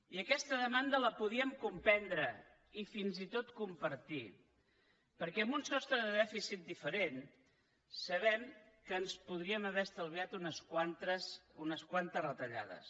i aquesta demanda la podíem comprendre i fins i tot compartir perquè amb un sostre de dèficit diferent sabem que ens podríem haver estalviat unes quantes retallades